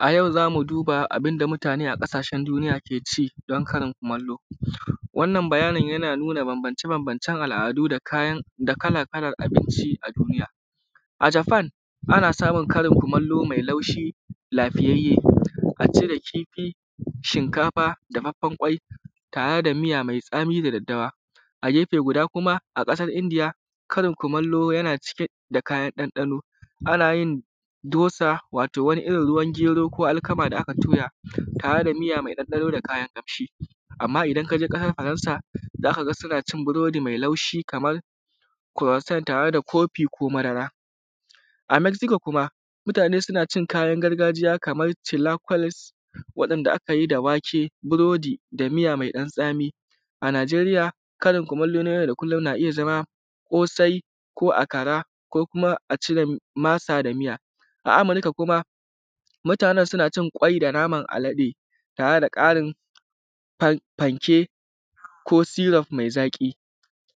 A yau za mu duba yanda mutane a ƙasashen duniya ke ci domin karin kumallo. Wannan bayanin yana nuna banbance-banbancen al’adu da kala-kalan abinci a duniya. A Japan, ana samun karin kumallo mai laushi, lafiyayye: asid, kifi, shinkafa, da dafaffen ƙwai, tare da miya mai tsami da daddawa. A ƙasar Indiya kuma, karin kumallo yana cike da kayan ɗanɗano: ana yin dosa da wani irin ruwan gero ko alkama da aka toya tare da miya mai ɗanɗano da kayan ƙamshi. Amma idan ka je ƙasar Faransa, za ka ga suna cin biredi mai laushi (croissant) tare kofi ko madara. A Meziko (Mexico) kuma, mutane suna cin kayan gargajiya kaman chilaquiles, waɗanda aka yi da wake, burodi, da miya mai ɗan-tsami. A Naijeriya, karin kumallon yau-da-kullun na iya zama ƙosai ko akara, ko kuma a ci masa da miya. A Amurika kuma, mutane suna cin ƙwai da naman alade tare da ƙarin fanke ko syrup mai zaƙi.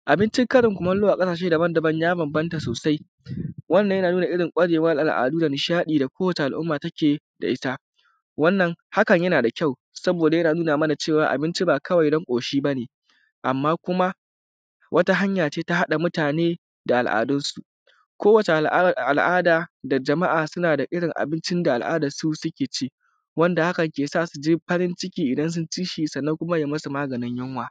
Abincin karin kumallo a ƙasashe ya banbanta sosai. Wannan yana nuna ƙwarewan al’adu da nishaɗi da kowane al’umma take da ita. Wannan hakan yana da kyau, saboda yana nuna mana cewa abinci ba kawai na ƙoshi ba ne, amma kuma wata hanya ce na haɗa mutane da al’adunsu. Kowace al’ada, jama’a suna da irin abincin da al’adansu suke ci, wanda hakan kan sa su ji farin ciki idan sun bi shi, sannan kuma ya yi musu maganin yunwa.